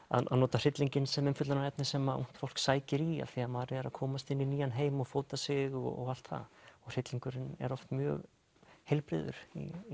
að nota hryllinginn sem umfjöllunarefni sem að ungt fólk sækir í af því maður er að komast inn í nýjan heim og fóta sig og allt það hryllingurinn er oft mjög heilbrigður